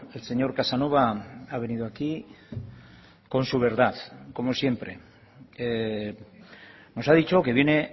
el señor casanova ha venido aquí con su verdad como siempre nos ha dicho que viene